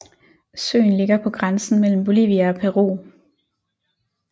Søen ligger på grænsen mellem Bolivia og Peru